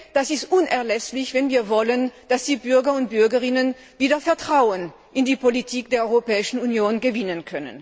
Das ist unerlässlich, wenn wir wollen, dass die Bürgerinnen und Bürger wieder Vertrauen in die Politik der Europäischen Union gewinnen.